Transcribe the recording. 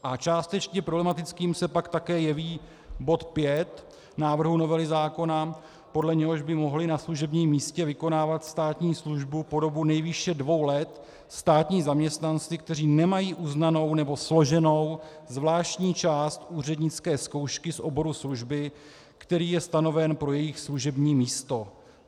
A částečně problematickým se pak také jeví bod 5 návrhu novely zákona, podle něhož by mohli na služebním místě vykonávat státní službu po dobu nejvýše dvou let státní zaměstnanci, kteří nemají uznanou nebo složenou zvláštní část úřednické zkoušky z oboru služby, který je stanoven pro jejich služební místo.